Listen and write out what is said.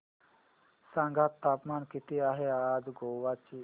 सांगा तापमान किती आहे आज गोवा चे